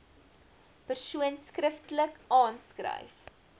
persoon skriftelik aanskryf